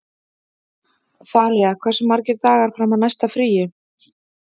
Þalía, hversu margir dagar fram að næsta fríi?